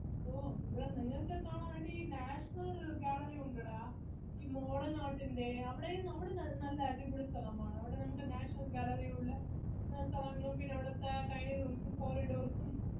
ഓ ഇവിടെ നിങ്ങൾക്കൊക്കെ കാണാൻ national gallery ഉണ്ടെടാ ഈ modern art ന്റെ അവിടെയും അവിടെ നല്ല അടിപൊളി സ്ഥലമാണ് അവിടെ നമുക്ക്